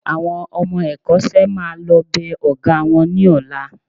Àwọn ọmọ ẹ̀kọ́ṣẹ́ máa lọ bẹ Ọ̀gá wọn ní ọ̀la